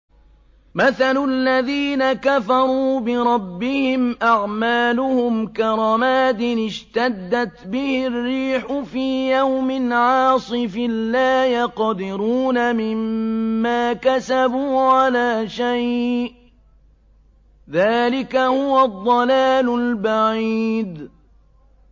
مَّثَلُ الَّذِينَ كَفَرُوا بِرَبِّهِمْ ۖ أَعْمَالُهُمْ كَرَمَادٍ اشْتَدَّتْ بِهِ الرِّيحُ فِي يَوْمٍ عَاصِفٍ ۖ لَّا يَقْدِرُونَ مِمَّا كَسَبُوا عَلَىٰ شَيْءٍ ۚ ذَٰلِكَ هُوَ الضَّلَالُ الْبَعِيدُ